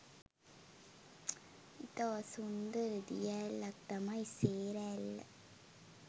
ඉතා සුන්දර දිය ඇල්ලක් තමයි සේර ඇල්ල.